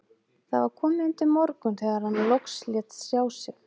Það var komið undir morgun þegar hann loks lét sjá sig.